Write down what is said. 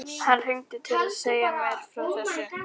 Hann hringdi til að segja mér frá þessu.